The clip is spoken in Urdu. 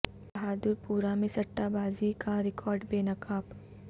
بہادر پورہ میں سٹہ بازی کا ریاکٹ بے نقاب